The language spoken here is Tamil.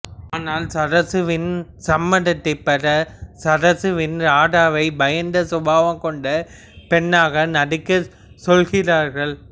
ஆனால் சரசுவின் சம்மதத்தைப் பெற சரசுவிடம் ராதாவை பயந்த சுபாவம் கொண்ட பெண்ணாக நடிக்கச் சொல்கிறார்கள்